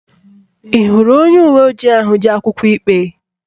Ị hụrụ onye uwe ojii ahụ ji akwụkwọ ikpe?